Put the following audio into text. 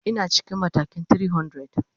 Ina cikin matakin 300.